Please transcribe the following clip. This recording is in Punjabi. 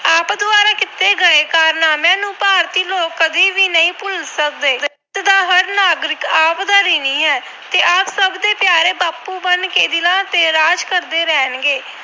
ਆਪ ਦੁਆਰਾ ਕੀਤੇ ਗਏ ਕਾਰਨਾਮਿਆਂ ਨੂੰ ਭਾਰਤੀ ਲੋਕ ਕਦੇ ਵੀ ਨਹੀਂ ਭੁਲ ਸਕਦੇ। ਦੇਸ਼ ਦਾ ਹਰ ਨਾਗਰਿਕ ਆਪ ਦਾ ਰਿਣੀ ਹੈ ਤੇ ਬਾਪੂ ਬਣ ਕੇ ਦਿਲਾਂ ਤੇ ਰਾਜ ਕਰਦੇ ਰਹਿਣਗੇ।